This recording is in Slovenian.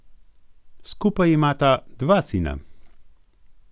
Skupaj imata dva sina.